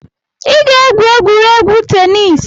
Ị ga-egwu egwuregwu tenis